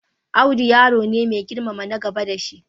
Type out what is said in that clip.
Audu yaro ne mai girmama na gaba da shi.